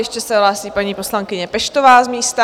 Ještě se hlásí paní poslankyně Peštová z místa.